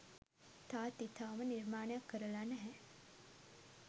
තාත්ති තවම නිර්මාණයක් කරලා නැහැ.